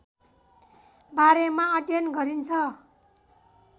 बारेमा अध्ययन गरिन्छ